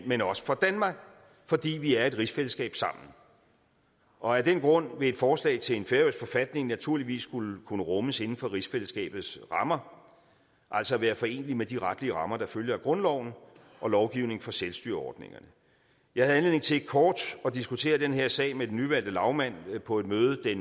men også for danmark fordi vi er i et rigsfællesskab sammen og af den grund vil et forslag til en færøsk forfatning naturligvis skulle kunne rummes inden for rigsfællesskabets rammer altså være foreneligt med de retlige rammer der følger af grundloven og lovgivningen for selvstyreordningerne jeg havde anledning til kort at diskutere den her sag med den nyvalgte lagmand på et møde